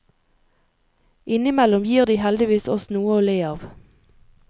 Innimellom gir de heldigvis oss noe å le av.